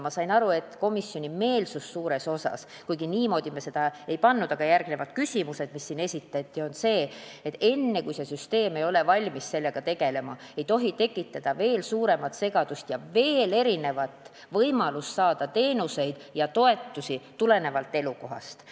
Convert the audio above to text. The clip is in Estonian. Ma sain aru, et komisjoni meelsus suuresti on selline – kuigi me seda niimoodi arutelu alla ei seadnud, tuli see välja esitatud küsimustest –, et enne kui see süsteem ei ole valmis sellega tegelema, ei tohi tekitada veel suuremat segadust ja lisaks võimalust saada teenuseid ja toetusi tulenevalt elukohast.